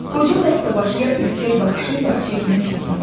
Qoca dəstəbaşı ya ürkək baxışı ilə çəkinə-çəkinə baxdı.